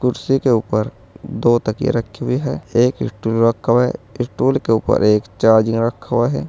कुर्सी के ऊपर दो तकिया रखी हुई है एक स्टूल रखा हुआ है स्टूल के ऊपर एक चार्जिंग रखा हुआ है।